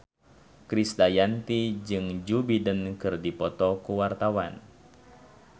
Krisdayanti jeung Joe Biden keur dipoto ku wartawan